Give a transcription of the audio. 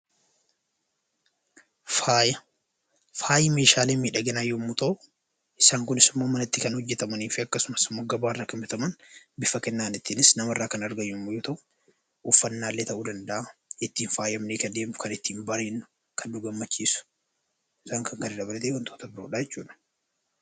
Faayi meeshaalee miidhaginaa yommuu ta'u, isaan kunis immoo manatti kan hojjetamanii fi akkasumas immoo gabaarraa kan bitaman bifa kennaatiinis namarraa kan argaman yommuu ta'u, uffannaallee ta'uu danda'a, ittiin faayamnee kan deemnu, kan ittiin bareednu, kan nu gammachiisu isaan kan kana dabalatee wantoota biroodha jechuudha.